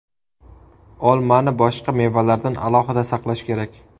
Olmani boshqa mevalardan alohida saqlash kerak.